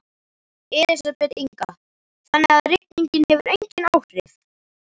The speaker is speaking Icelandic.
Elísabet Inga: Þannig að rigningin hefur engin áhrif?